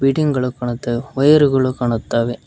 Building ಗಳು ಕಾಣುತ್ತವೆ ವಯರ್ಗಳು ಕಾಣುತ್ತವೆ.